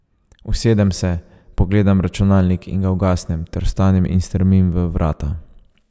Usedem se, pogledam računalnik in ga ugasnem ter vstanem in strmim v vrata.